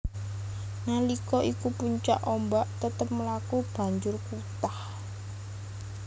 Nalika iku puncak ombak tetep mlaku banjur wutah